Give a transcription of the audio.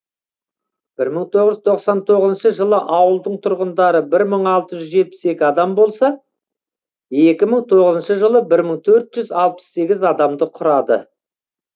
бір мың тоғыз жүз тоқсан тоғызыншы жылы ауылдың тұрғындары бір мың алты жүз жетпіс екі адам болса екі мың тоғызыншы жылы бір мың төрт жүз алпыс сегіз адамды құрады